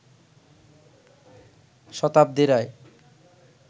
শতাব্দী রায়